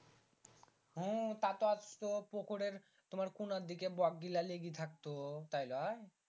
হুম তা তো পোখরের কোনার দিকে বক গীলা লেগে থাকতো তাই লই